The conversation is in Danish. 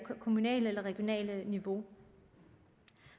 kommunalt eller regionalt niveau